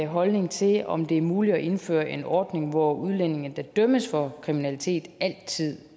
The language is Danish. holdning til om det er muligt at indføre en ordning hvor udlændinge der dømmes for kriminalitet altid